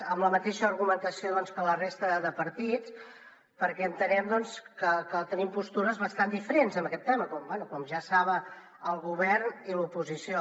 amb la mateixa argumentació doncs que la resta de partits perquè entenem que tenim postures bastant diferents en aquest tema bé com ja saben el govern i l’oposició